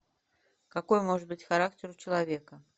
какой может быть характер у человека